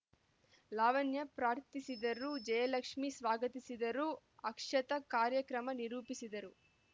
ಲಾವಣ್ಯ ಪ್ರಾರ್ಥಿಸಿದರು ಜಯಲಕ್ಷ್ಮೀ ಸ್ವಾಗತಿಸಿದರು ಅಕ್ಷತ ಕಾರ್ಯಕ್ರಮ ನಿರೂಪಿಸಿದರು